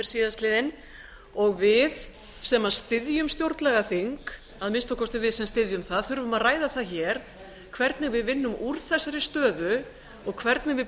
síðastliðinn og við sem styðjum stjórnlagaþing að minnsta kosti við sem styðjum það þurfum að ræða það hér hvernig við vinnum úr þessari stöðu og hvernig við